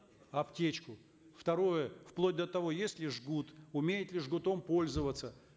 аптечку второе вплоть до того есть ли жгут умеет ли жгутом пользоваться